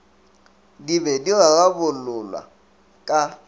di be di rarabololwa ka